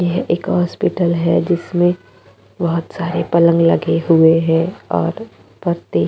ये एक हॉस्पिटल है जिसमे बहोत सारे पलंग लगे हुए है और पते--